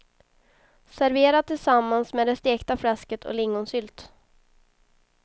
Servera tillsammans med det stekta fläsket och lingonsylt.